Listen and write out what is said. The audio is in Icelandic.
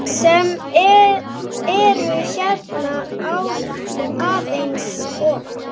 sem eru hérna aðeins ofar.